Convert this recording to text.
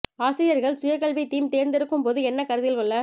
ஆசிரியர்கள் சுய கல்வி தீம் தேர்ந்தெடுக்கும் போது என்ன கருத்தில் கொள்ள